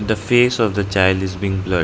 the face of the child is being blurred.